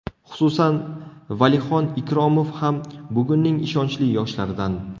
Xususan, Valixon Ikromov ham bugunning ishonchli yoshlaridan.